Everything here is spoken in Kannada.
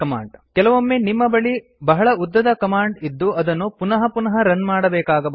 ಕೆಲವೊಮ್ಮೆ ನಿಮ್ಮ ಬಳಿ ಬಹಳ ಉದ್ದದ ಕಮಾಂಡ್ ಇದ್ದು ಅದನ್ನು ಪುನಃ ಪುನಃ ರನ್ ಮಾಡಬೇಕಾಗಬಹುದು